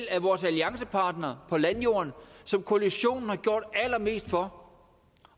af vores alliancepartnere på landjorden som koalitionen har gjort allermest for